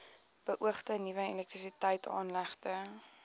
beoogde nuwe elektrisiteitsaanlegte